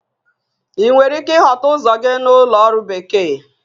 Ị nwere ike ịchọta ụzọ gị na Ụlọ Ọrụ Bekee?